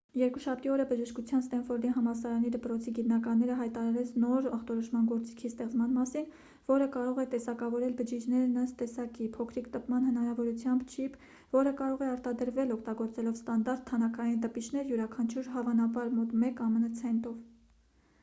երկուշաբթի օրը բժշկության ստենֆորդի համալսարանի դպրոցի գիտնականները հայտարարեց նոր ախտորոշման գործիքի ստեղծման մասին որը կարող է տեսակավորել բջիջներն ըստ տեսակի փոքրիկ տպման հնարավորությամբ չիպ որը կարող է արտադրվել օգտագործելով ստանդարտ թանաքային տպիչներ յուրաքանչյուրը հավանաբար մոտ մեկ ամն ցենտով